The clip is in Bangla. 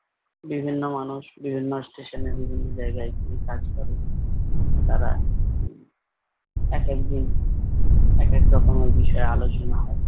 বিভিন্ন মানুষ বিভিন্ন স্টেশনের বিভিন্ন জায়গায় গিয়ে কাজ করে। তারা হম এক এক দিন এক এক রকমের বিষয়ে আলোচনা হয়।